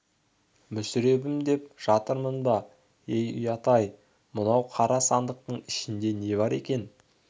мүсіребім деп жатырмын ба ей ұят-ай ұят-ай мынау қара сандықтың ішінде не бар екен